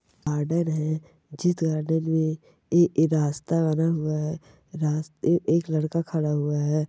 Garden है जिस garden एक रास्ता बना हुआ है रास्ते पे एक लडका खड़ा हुआ है।